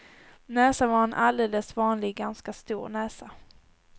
Näsan var en alldeles vanlig ganska stor näsa.